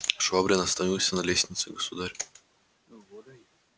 швабрин остановился на лестнице государь